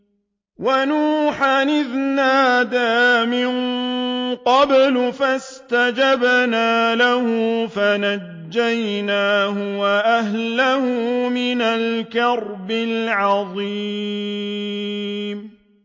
وَنُوحًا إِذْ نَادَىٰ مِن قَبْلُ فَاسْتَجَبْنَا لَهُ فَنَجَّيْنَاهُ وَأَهْلَهُ مِنَ الْكَرْبِ الْعَظِيمِ